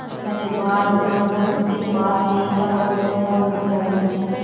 सुंदर घने बाल बस जो उसके पास नहीं था वह था उजला रंग